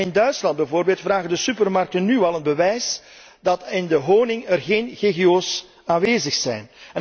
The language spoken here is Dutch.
En in Duitsland bijvoorbeeld vragen de supermarkten nu al een bewijs dat er in de honing geen GGO's aanwezig zijn.